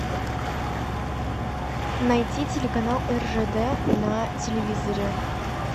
найти телеканал ржд на телевизоре